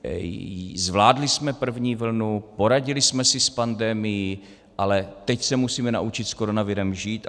Zvládli jsme první vlnu, poradili jsme si s pandemií, ale teď se musíme naučit s koronavirem žít.